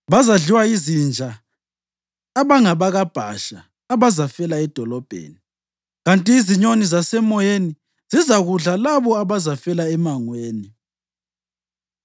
Bazadliwa yizinja abangabakaBhasha abazafela edolobheni, kanti izinyoni zasemoyeni zizakudla labo abazafela emangweni.”